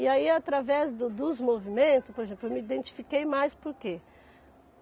E aí, através do dos movimentos, por exemplo, eu me identifiquei mais por quê?